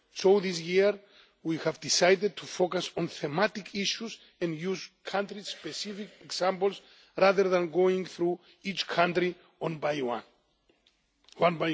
So this year we have decided to focus on thematic issues and use country specific examples, rather than going through each country one by one.